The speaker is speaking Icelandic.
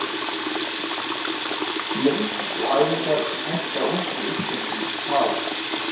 Leikir og æfingar sem henta ungum iðkendum- ÞÁ